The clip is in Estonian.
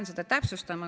Ma pean seda täpsustama.